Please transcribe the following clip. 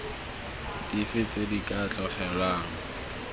dife tse di ka tlogelwang